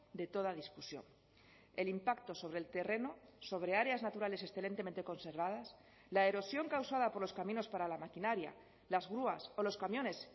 de toda discusión el impacto sobre el terreno sobre áreas naturales excelentemente conservadas la erosión causada por los caminos para la maquinaria las grúas o los camiones